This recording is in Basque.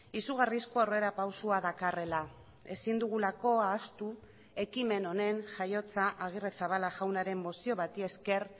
izugarrizko aurrera pausoa dakarrela ezin dugulako ahaztu ekimen honen jaiotza agirrezabala jaunaren mozio bati esker